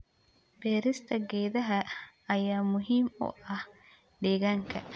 Beerista geedaha ayaa muhiim u ah deegaanka.